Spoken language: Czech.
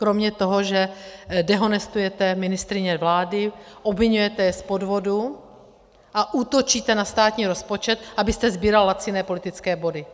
Kromě toho, že dehonestujete ministryně vlády, obviňujete je z podvodu a útočíte na státní rozpočet, abyste sbíral laciné politické body?